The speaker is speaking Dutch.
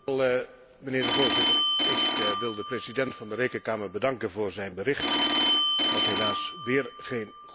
Voorzitter, ik wil de president van de Rekenkamer bedanken voor zijn verslag, dat helaas weer geen goed verslag is.